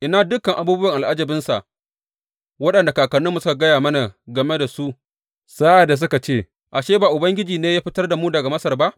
Ina dukan abubuwan al’ajabinsa waɗanda kakanninmu suka gaya mana game su sa’ad da suka ce, Ashe, ba Ubangiji ne ya fitar da mu daga Masar ba?’